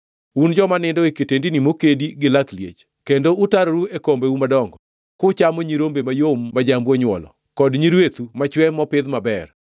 Un joma nindo e kitendini mokedi gi lak liech, kendo utaroru e kombeu madongo, kuchamo nyirombe mayom ma jambu onywolo, kod nyirwethu machwe mopidh maber.